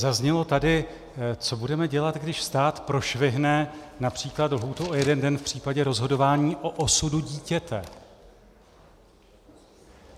Zaznělo tady: co budeme dělat, když stát prošvihne například lhůtu o jeden den v případě rozhodování o osudu dítěte?